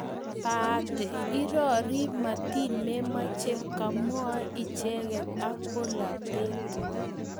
Baate irori matiny memachei kamwoe icheket ak bolotetet